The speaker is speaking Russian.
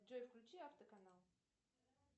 джой включи автоканал